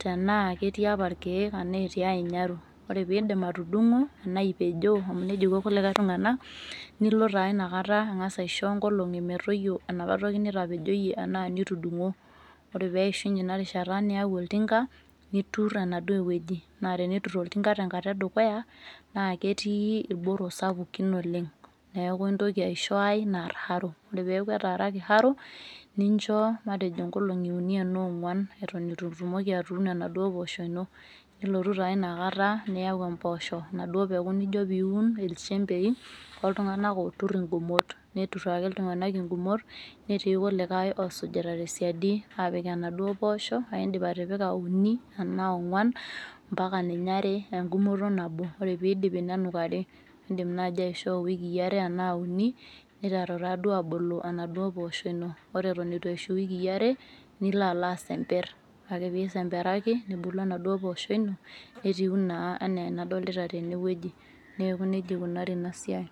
tenaa ketii apa irkeek enaa etii ae nyaru ore pindip atudung'o enaa ipejoo amu nejia iko kulikae tung'anak nilo taa inakata ang'as aisho inkolong'i metoyio enapa toki nitapejoyie anaa nitudung'o ore peishunye ina rishata niyau oltinka niturr enaduo wueji naa teneturr oltinka tenkata edukuya naa ketii irboro sapukin oleng neeku intoki aisho ae narr haro ore peeku etaraki haro nincho matejo nkolong'i uni enaa ong'uan eton etu itumoki atuuno enaduo poosho ino nilotu taa ianakata niyau emposho enaduo peku nijo piun ilchembei oltung'anak oturr ingumot neturr ake iltung'anak ingumot netii kulikae osujita tesiadi apik enaduo poosho aindip atipika uni enaa ong'uan mpaka ninye are engumoto nabo ore pidipi nenukari indim naaji aishoo iwikii are enaa uni niteru taa duo abulu enaduo poosho ino ore eton etu eishu iwikii are nilo alo asemperr ore ake pisemperaki nebulu enaduo pooshoi ino netiu naa enaa enadolita tenewueji neku nejia ikunari ina siai.